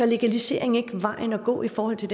legalisering ikke vejen at gå i forhold til